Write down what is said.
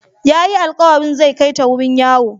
Yayi alqawarin zai kaita wajen yawo.